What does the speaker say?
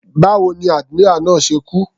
Báwo ni admiral náà ṣe kú.